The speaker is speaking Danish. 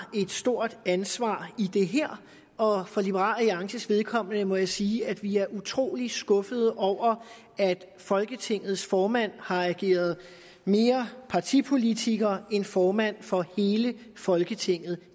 et stort ansvar i det her og for liberal alliances vedkommende må jeg sige at vi er utrolig skuffede over at folketingets formand har ageret mere partipolitiker end formand for hele folketinget